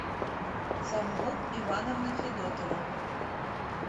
самбу ивановна федотова